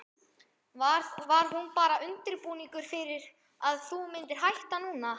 Var hún bara undirbúningur fyrir að þú myndir hætta núna?